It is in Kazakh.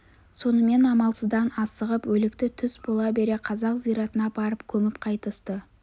сонымен амалсыздан асығып өлікті түс бола бере қазақ зиратына апарып көміп қайтысты